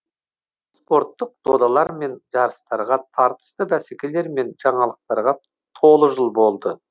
спорттық додалар мен жарыстарға тартысты бәсекелер мен жаңалықтарға толы жыл болды